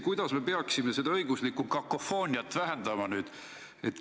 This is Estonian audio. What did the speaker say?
Kuidas me peaksime seda õiguslikku kakofooniat vähendama?